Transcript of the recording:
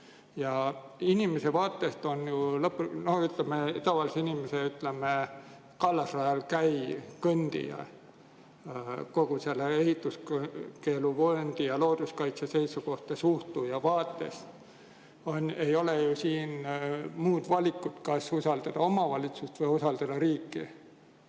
Ja tavalise inimese vaatest ta on ju, ütleme, kallasrajal kõndija, kogu ehituskeeluvööndi ja looduskaitse ei ole ju muud valikut, kui kas usaldada omavalitsust või usaldada riiki.